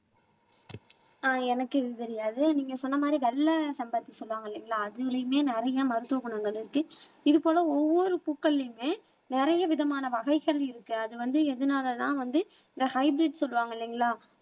ஆஹ் எனக்கு இது தெரியாது நீங்க சொன்ன மாதிரி வெள்ளை செம்பருத்தி சொல்லுவாங்க இல்லைங்களா அதுலயுமே நிறைய மருத்துவ குணங்கள் இருக்கு இது போல ஒவ்வொரு பூக்கள்லயுமே நிறைய விதமான வகைகள் இருக்கு அது வந்து எதுனாலன்னா வந்து இந்த ஹைபிரிட் சொல்லுவாங்க இல்லைங்களா